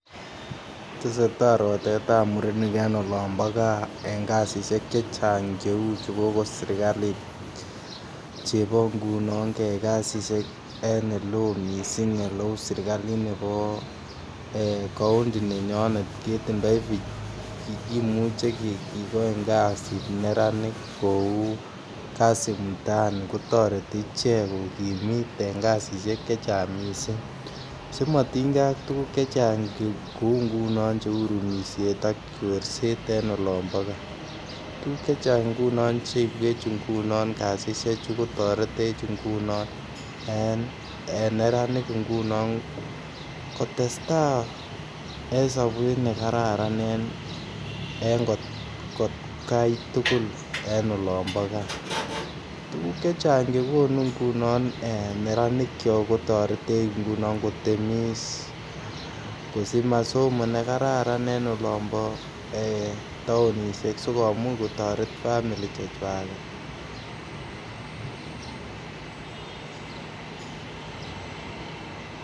Tesetaai rotetab mureniik en olombo gaa en kasisiek chechaang' cheeu chegogon serkaliit chebo ngunon kyaai kasisiek en eleoo mising' eleuu serkaliit neboo kaonti nenyoneet, kimuche kegooin kasiit neraniik kouu kasi mtaani kotoreti ichek kogimiit en kasisiek chechaang' mising, simotingee ak tuguk chechang kouu ngunon, chorseet ak rumisheet en olombo gaa, biik chechang' ngunon cheitweech ngunon kasisiek chuu kotoretech ngunon en neraniik ngunon kotestaai en sobeet negararan en atkaai tugul en olombo gaa, tuguuk chechang' chegonu ngunoon neranik kyook kotoretech ngunon kotemiis kosich masomo negararan en olombo taonisheek sigomuuch kotoret family chechwageet.